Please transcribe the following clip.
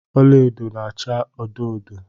Ọla edo na-acha odo odo.